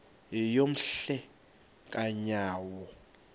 yeyom hle kanyawo